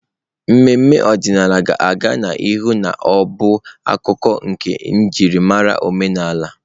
Ememe omenala ga-aga n'ihu na-abụ akụkụ nke njirimara omenala.